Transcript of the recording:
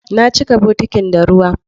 Na cika bokitin da ruwa